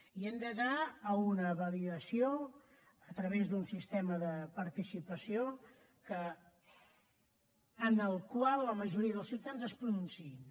i hem d’anar a una validació a través d’un sistema de participació en el qual la majoria dels ciutadans es pronunciïn